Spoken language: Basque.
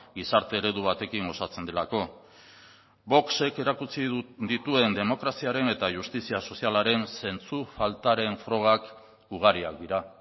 gizarte eredu batekin osatzen delako vox ek erakutsi dituen demokraziaren eta justizia sozialaren zentzu faltaren frogak ugariak dira